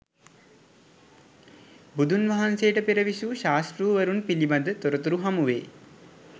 බුදුන් වහන්සේට පෙර විසූ ශාස්තෘවරුන් පිළිබඳ තොරතුරු හමුවේ.